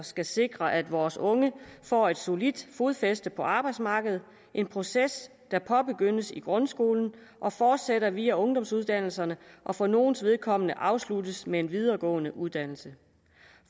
skal sikre at vores unge får et solidt fodfæste på arbejdsmarkedet en proces der påbegyndes i grundskolen og fortsætter via ungdomsuddannelser og for nogles vedkommende afsluttes med en videregående uddannelse